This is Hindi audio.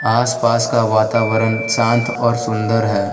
आसपास का वातावरण शांत और सुंदर है।